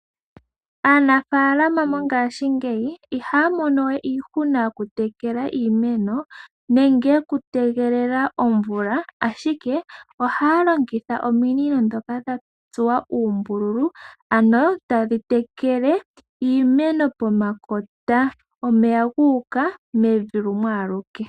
Aanafaalama mongashingeyi ihaya mono we iihuna yokutekela iimeno nenge yokutegelela omvula, ashike ohaya longitha ominino ndhoka dha tsuwa uumbululu ano tadhi tekele iimeno pomakota, omeya gu uka owala mevi.